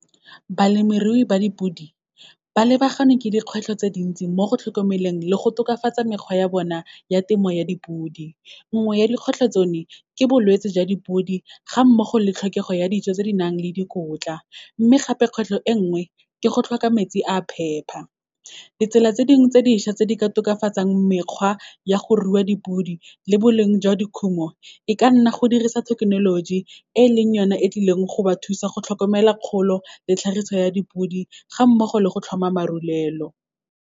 Balemirui ba dipodi, ba lebaganwe ke dikgwetlho tse dintsi mo go tlhokomeleng le go tokafatsa mekgwa ya bona ya temo ya dipodi. Nngwe ya dikgwetlho tsone, ke bolwetse jwa dipodi, ga mmogo le tlhokego ya dijo tse di nang le dikotla, mme gape kgwetlho e nngwe ke go tlhoka metsi a phepa. Ditsela tse dingwe tse dišwa tse di ka tokafatsang mekgwa ya go rua dipodi le boleng jwa dikhumo, e ka nna go dirisa thekenoloji, e leng yone e tlileng go ba thusa go tlhokomela kgolo le tlhagiso ya dipodi, ga mmogo le go tlhoma marulelo.